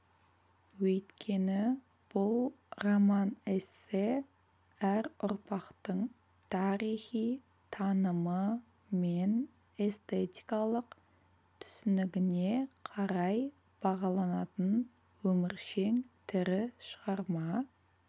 өйткені бұл роман-эссе әр ұрпақтың тарихи танымы мен эстетикалық түсінігіне қарай бағаланатын өміршең тірі шығарма